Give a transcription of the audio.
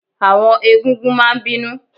Àwọn egún-gún máa n bínú